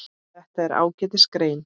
Þetta er ágætis grein.